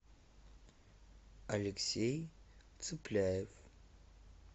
алексей цыпляев